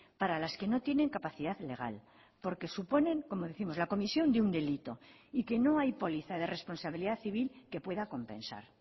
para las que no tienen capacidad legal porque suponen como décimos la comisión de un delito y que no hay póliza de responsabilidad civil que pueda compensar